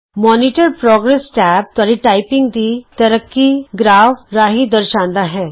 monitor progress tab ਤੁਹਾਡੀ typing ਦੀ ਤਰੱਕੀ ਗ੍ਰਾਫ ਰਾਹੀਂ ਦਰਸਾਂਦਾ ਹੈ